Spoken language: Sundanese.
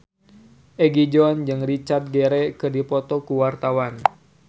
Egi John jeung Richard Gere keur dipoto ku wartawan